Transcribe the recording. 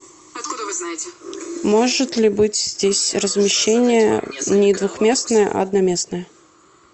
может ли быть здесь размещение не двухместное а одноместное